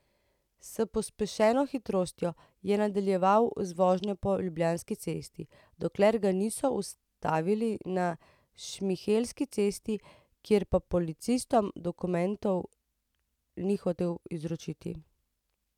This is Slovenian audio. S pospešeno hitrostjo je nadaljeval z vožnjo po Ljubljanski cesti, dokler ga niso ustavili na Šmihelski cesti, kjer pa policistom dokumentov ni hotel izročiti.